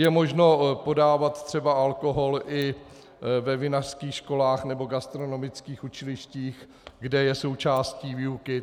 Je možno podávat třeba alkohol i ve vinařských školách, nebo gastronomických učilištích, kde je součástí výuky.